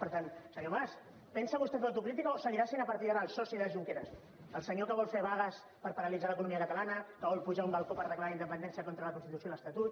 per tant senyor mas pensa vostè fer autocrítica o seguirà sent a partir d’ara el soci de junqueras el senyor que vol fer vagues per paralitzar l’economia catala na que vol pujar a un balcó per declarar la independència contra la constitució i l’estatut